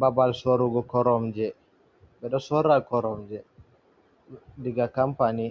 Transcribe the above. Babal sorugo koromje, ɓe ɗo sora koromje, diga kompani.